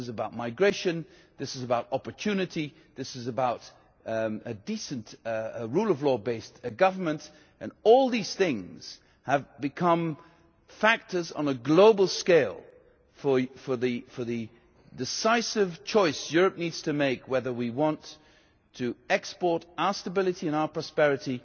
This is about migration, this is about opportunity, this is about decent, rule of law based government and all these things have become factors on a global scale for the decisive choice Europe needs to make whether we want to export our stability and our prosperity,